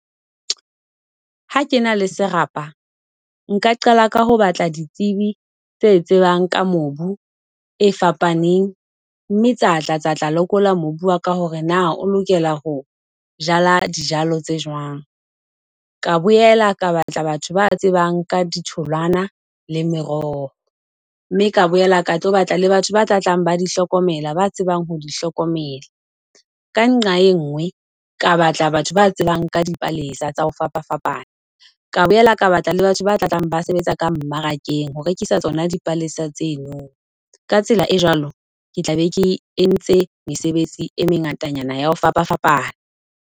Ha ke na le serapa, nka qala ka ho batla ditsebi tse tsebang ka mobu e fapaneng, mme tsa tla tsa tla lekola mobu waka ka hore na o lokela ho jala dijalo tse jwang. Ka boela ka batla batho ba tsebang ka ditholoana le meroho, mme ka boela ka tlo batla le batho ba tla tlang, ba di hlokomela, ba tsebang ho di hlokomela. Ka nqa e nngwe, ka batla batho ba tsebang ka dipalesa tsa ho fapafapana. Ka bolela ka batla le batho ba tla tlang ba sebetsa ka mmarakeng ho rekisa tsona dipalesa tseno. Ka tsela e jwalo, ke tla be ke entse mesebetsi e mengatanyana ya ho fapafapana.